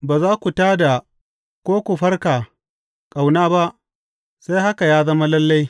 Ba za ku tā da ko ku farka ƙauna ba sai haka ya zama lalle.